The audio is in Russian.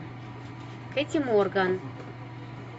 кэти морган